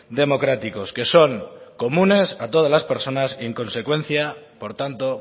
democráticos que son comunes a todas las personas y en consecuencia por tanto